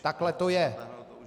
Takhle to je.